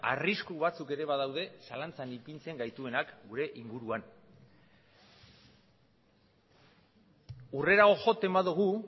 arrisku batzuk ere badaude zalantzan ipintzen gaituenak gure inguruan hurrerago joten badugu